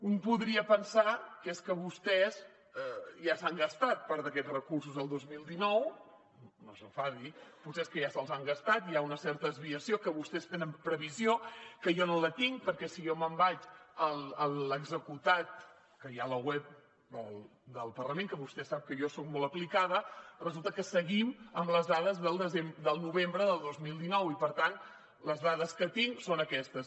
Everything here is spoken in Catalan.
un podria pensar que és que vostès ja s’han gastat part d’aquests recursos el dos mil dinou no s’enfadi potser és que ja se’ls han gastat hi ha una certa desviació de què vostès tenen previsió que jo no la tinc perquè si jo me’n vaig a l’executat que hi ha a la web del parlament que vostè sap que jo soc molt aplicada resulta que seguim amb les dades del novembre del dos mil dinou i per tant les dades que tinc són aquestes